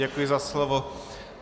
Děkuji za slovo.